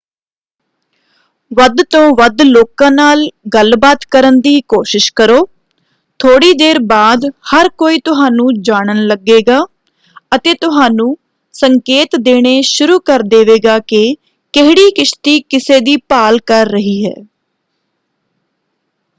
ਵੱਧ ਤੋਂ ਵੱਧ ਲੋਕਾਂ ਨਾਲ ਗੱਲਬਾਤ ਕਰਨ ਦੀ ਕੋਸ਼ਿਸ਼ ਕਰੋ। ਥੋੜ੍ਹੀ ਦੇਰ ਬਾਅਦ ਹਰ ਕੋਈ ਤੁਹਾਨੂੰ ਜਾਣਨ ਲੱਗੇਗਾ ਅਤੇ ਤੁਹਾਨੂੰ ਸੰਕੇਤ ਦੇਣੇ ਸ਼ੁਰੂ ਕਰ ਦੇਵੇਗਾ ਕਿ ਕਿਹੜੀ ਕਿਸ਼ਤੀ ਕਿਸੇ ਦੀ ਭਾਲ ਕਰ ਰਹੀ ਹੈ।